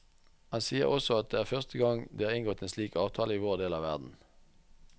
Han sier også at det er første gang det er inngått en slik avtale i vår del av verden.